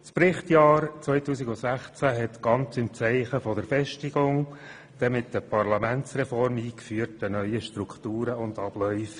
Das Berichtsjahr 2016 stand ganz im Zeichen der Festigung der mit der Parlamentsreform eingeführten neuen Strukturen und Abläufe.